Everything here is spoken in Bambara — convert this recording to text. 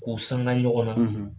K'u sanga ɲɔgɔn na